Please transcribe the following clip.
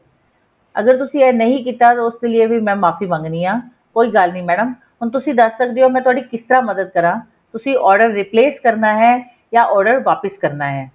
ਅਗਰ ਤੁਸੀਂ ਇਹ ਨਹੀਂ ਕੀਤਾ ਤਾ ਉਸ ਦੇ ਲਈ ਵੀ ਮੈਂ ਮਾਫ਼ੀ ਮੰਗਦੀ ਹਾਂ ਕੋਈ ਗੱਲ ਨਹੀਂ ਮੈਡਮ ਹੁਣ ਤੁਸੀਂ ਦੱਸ ਸਕਦੇ ਹੋ ਮੈਂ ਤੁਹਾਡੀ ਕਿਸ ਤਰ੍ਹਾਂ ਮਦਦ ਕਰਾ ਤੁਸੀਂ order replace ਕਰਨਾ ਹੈ ਜਾਂ order ਵਾਪਿਸ ਕਰਨਾ ਹੈ